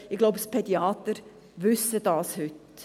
» Ich glaube, die Pädiater wissen das heute.